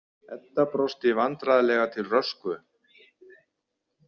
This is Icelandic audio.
Edda brosti vandræðalega til Röskvu.